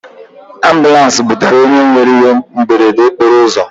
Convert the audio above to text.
Ambụlans butere onye nwere ihe mberede okporoụzọ.